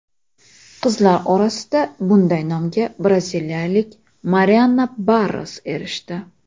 Qizlar orasida bunday nomga braziliyalik Marianna Barros erishdi.